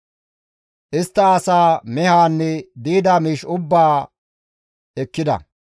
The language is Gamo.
Istta asaa, mehaanne di7ida miish ubbaa ekkida.